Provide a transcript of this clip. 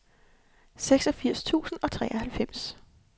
seksogfirs tusind og treoghalvfems